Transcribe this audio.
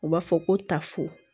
U b'a fɔ ko tafo